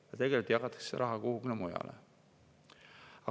Aga tegelikult jagatakse see raha kuhugi mujale.